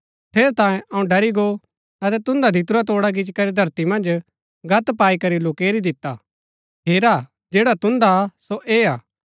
ठेरैतांये अऊँ ड़री गो अतै तुन्दा दितुरा तोड़ा गिच्ची करी धरती मन्ज गत्त पाई करी लुकैरी दिता हेरा जैडा तुन्दा हा सो ऐह हा